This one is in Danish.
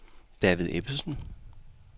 David Ebbesen